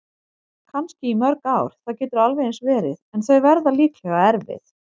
Kannski í mörg ár, það getur alveg eins verið- en þau verða líklega erfið.